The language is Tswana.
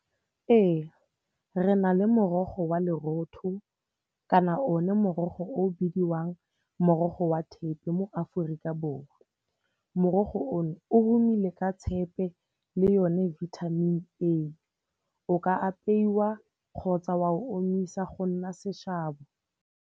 Ee, re na le morogo wa lerotho kana o ne morogo o bidiwang morogo wa thepe mo Aforika Borwa. Morogo o no o homile ka tshepe le yone vitamin A. O ka apeiwa kgotsa wa omisa go nna seshabo.